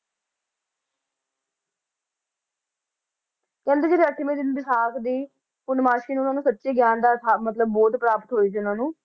ਕਹਿੰਦੇ ਜਿਹੜੇ ਅੱਠਵੇਂ ਦਿਨ ਵਿਸਾਖ ਦੀ ਪੂਰਨਮਾਸ਼ੀ ਨੂੰ ਇਹਨਾਂ ਨੂੰ ਸੱਚੇ ਗਿਆਨ ਅਰਥਾ~ ਮਤਲਬ ਬੋਧ ਪ੍ਰਾਪਤ ਹੋਈ ਸੀ ਇਹਨਾਂ ਨੂੰ